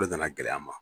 O de nana gɛlɛ an ma